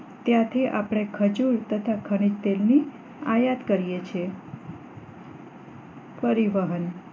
ત્યાંથી આપણે ખજુર તથા ખનીજ તેલ ની આયાત કરીએ છીએ પરિવહન